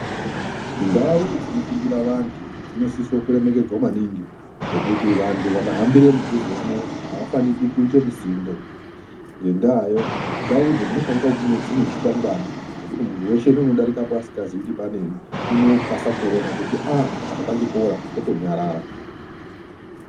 Ndau dzinofundira vantu dzinosiso kuremekedzwa maningi ngekuti vantu vakahambire mudhuzemwo, havafaniki kuite musindo. Ngendaayo, ndaudzo dzinofanika kunge dzine zvikwangwani zvekuti muntu weshe neunodarikapo asikazii kuti panei, unokasa kuona kuti ah apa pachikora, wotonyarara.